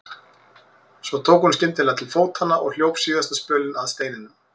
En svo tók hún skyndilega til fótanna og hljóp síðasta spölinn að steininum.